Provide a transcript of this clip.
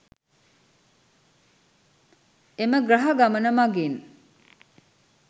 එම ග්‍රහ ගමන මගින්